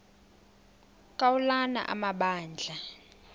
ka ulana amabandla